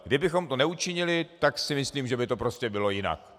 Kdybychom to neučinili, tak si myslím, že by to prostě bylo jinak.